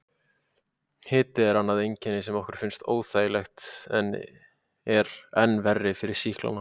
Hiti er annað einkenni sem okkur finnst óþægilegt en er enn verra fyrir sýklana.